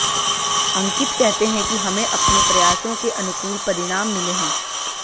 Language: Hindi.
अंकित कहते हैं कि हमें अपने प्रयासों के अनुकूल परिणाम मिले हैं